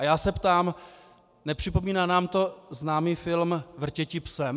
A já se ptám: nepřipomíná nám to známý film Vrtěti psem?